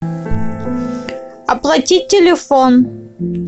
оплатить телефон